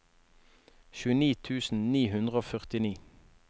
tjueni tusen ni hundre og førtini